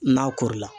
N'a kori la